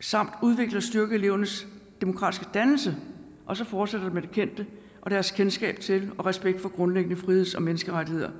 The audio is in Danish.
samt udvikle og styrke elevernes demokratiske dannelse og så fortsætter det med det kendte og deres kendskab til og respekt for grundlæggende friheds og menneskerettigheder